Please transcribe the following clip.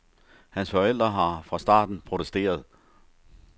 Hans forældre har fra starten protesteret.